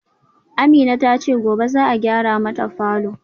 Amina tace gobe za'a gyara mata falor